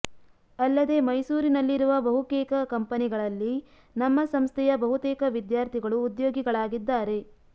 ಅಲ್ಲದೆ ಮೈಸೂರಿನಲ್ಲಿರುವ ಬಹುಕೇಕ ಕಂಪನಿಗಳಲ್ಲಿ ನಮ್ಮ ಸಂಸ್ಥೆಯ ಬಹುತೇಕ ವಿದ್ಯಾರ್ಥಿಗಳು ಉದ್ಸೋಗಿಗಳಾಗಿದ್ದಾರೆ